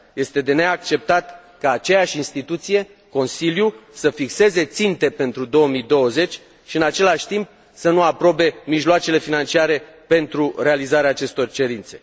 Este de neacceptat ca aceeași instituție, Consiliul, să fixeze ținte pentru 2020 și, în același timp, să nu aprobe mijloacele financiare pentru realizarea acestor cerințe.